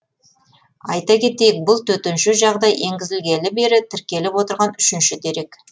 айта кетейік бұл төтенше жағдай енгізілгелі бері тіркеліп отырған үшінші дерек